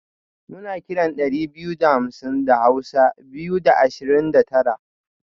muna kiran dari biyu da hamsin da hausa (Biyu da Ashirin da Tara)